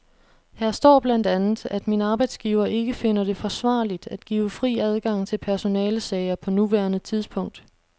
Her står blandt andet, at min arbejdsgiver ikke finder det forsvarligt at give fri adgang til personalesager på nuværende tidspunkt.